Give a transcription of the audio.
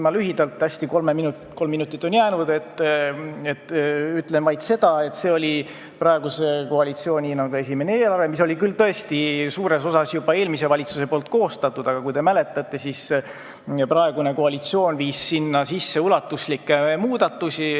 Ma hästi lühidalt ütlen vaid seda, et see oli praeguse koalitsiooni esimene eelarve, mis oli küll suures osas eelmise valitsuse koostatud, aga võib-olla te mäletate, et praegune koalitsioon viis sinna sisse ulatuslikke muudatusi.